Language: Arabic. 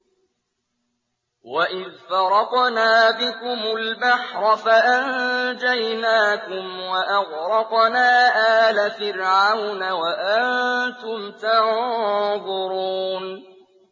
وَإِذْ فَرَقْنَا بِكُمُ الْبَحْرَ فَأَنجَيْنَاكُمْ وَأَغْرَقْنَا آلَ فِرْعَوْنَ وَأَنتُمْ تَنظُرُونَ